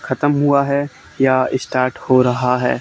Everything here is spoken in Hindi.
खतम हुआ है या स्टार्ट हो रहा है।